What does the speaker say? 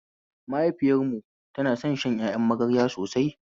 Mahaifiyar mu ta son shan ƴaƴan magarya sosai